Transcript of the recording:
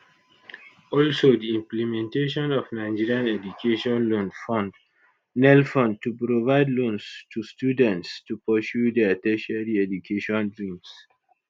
also di implementation of nigerian education loan fund nelfund to provide loans to students to pursue their tertiary educational dreams